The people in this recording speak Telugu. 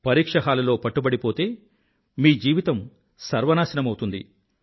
పరీక్షహాలులో పట్టుబడిపోతే మీ జీవితం సర్వం నాశనమౌతుంది